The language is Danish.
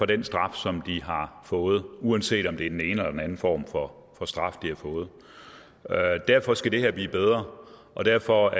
den straf som de har fået uanset om det er den ene eller den anden form for straf de har fået derfor skal det her blive bedre og derfor